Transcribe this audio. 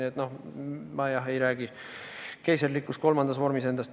Nii et ma, jah, ei räägi endast keiserlikus kolmandas vormis.